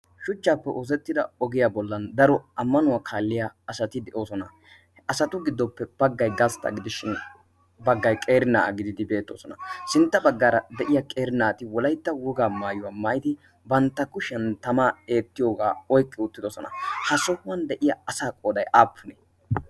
shuchchaappe oosettida ogiyaa bollan daro ammanuwaa kaalliya asati de'oosona asatu giddoppe baggay gastta gidishshin baggay qeeri na'aa gididi beettoosona sintta baggaara de'iya qeerinaati wolaitta wugaa maayuwaa maaidi bantta kushiyan tamaa eettiyoogaa oiqqi uuttidosona ha sohuwan de'iya asa qoday aappunee